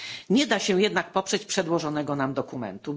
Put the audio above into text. Nie da się jednak poprzeć przedłożonego nam dokumentu.